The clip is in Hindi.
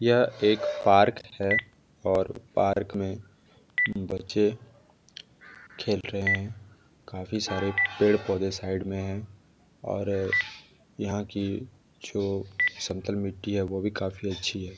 यह एक पार्क है और पार्क में बच्चे खेल रहे है काफी सारे पेड़ पौधे साइड मे है और यहाँ की जो समतल मिट्टी है वो भी काफी अच्छी हैं।